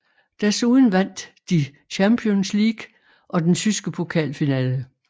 Desuden vandt de Champions League og den tyske pokalfinale